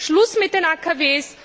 Schluss mit den AKW!